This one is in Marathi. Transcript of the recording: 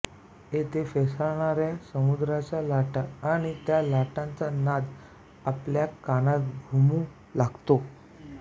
येथे फेसाळणाऱ्या समुद्राच्या लाटा आणि त्या लाटांचा नाद आपल्या कानात घुमू लागतो